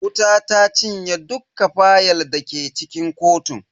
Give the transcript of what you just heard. Wuta ta cinye dukka fayal dake cikin kotun.